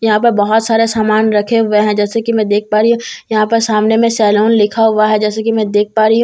यहां पर बहुत सारे सामान रखे हुए हैं जैसा कि मैं देख पा रही हूं यहां पर सामने में सैलून लिखा हुआ है जैसे कि मैं देख पा रही हूं यहां पर एक--